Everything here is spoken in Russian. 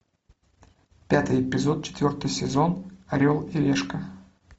пятый эпизод четвертый сезон орел и решка